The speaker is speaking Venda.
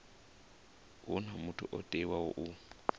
huna muthu o teaho u